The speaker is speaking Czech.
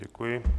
Děkuji.